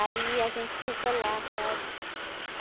Aí a gente ficou lá, sabe?